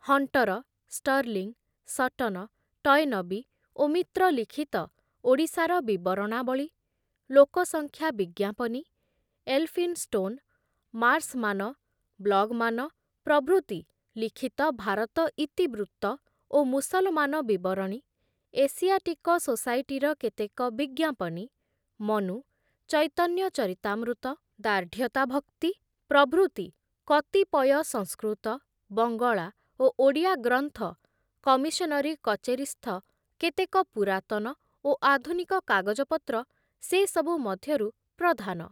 Hunter, Stirling, Sutton, Toynbee ଓ ମିତ୍ର ଲିଖିତ ଓଡ଼ିଶାର ବିବରଣାବଳୀ, ଲୋକସଂଖ୍ୟା ବିଜ୍ଞାପନୀ, ଏଲଫିନଷ୍ଟୋନ, ମାର୍ସମାନ, ବ୍ଲଗମାନ ପ୍ରଭୃତି ଲିଖିତ ଭାରତ ଇତିବୃତ୍ତ ଓ ମୁସଲମାନ ବିବରଣୀ, ଏସିଆଟିକ ସୋସାଇଟିର କେତେକ ବିଜ୍ଞାପନୀ, ମନୁ, ଚୈତନ୍ୟ ଚରିତାମୃତ, ଦାର୍ଢ଼୍ଯତାଭକ୍ତି ପ୍ରଭୃତି କତିପୟ ସଂସ୍କୃତ, ବଙ୍ଗଳା ଓ ଓଡ଼ିଆ ଗ୍ରନ୍ଥ, କମିଶନରୀ କଚେରୀସ୍ଥ କେତେକ ପୁରାତନ ଓ ଆଧୁନିକ କାଗଜପତ୍ର ସେ ସବୁ ମଧ୍ୟରୁ ପ୍ରଧାନ ।